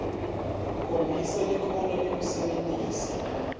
khombisa likhono lekusebentisa